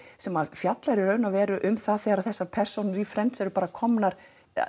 sem fjallar í raun og veru um það þegar þessar persónur í Friends eru bara komnar